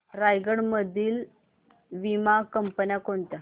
रायगड मधील वीमा कंपन्या कोणत्या